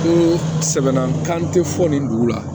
Ni sɛbɛnna kan tɛ fɔ nin dugu la